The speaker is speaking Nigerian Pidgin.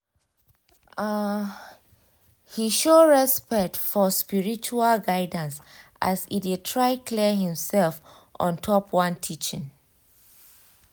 um he show respect for spiritual guidance as e de try clear himsef ontop one teaching